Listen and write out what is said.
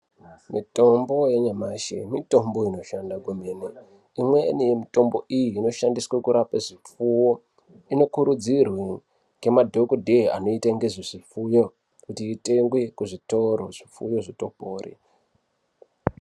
Mitombo yanyamashi mitombo inoshanda kwemene. Imweni yemitombo iyi inoshandiswe kurape zvipfuwo. Inokurudzirwe ngemadhogodheya anoite ngezvezvipfuyo kuti itengwe kuzvitoro, zvipfuyo zvitopore.